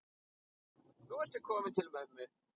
Nú ertu kominn til mömmu.